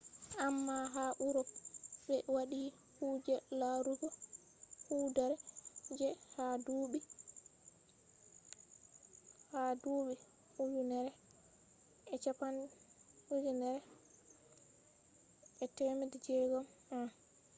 amma ha urop ɓe waɗi kuje larugo hoodere je ha duuɓi 1600 en